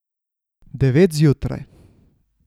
Devet zjutraj.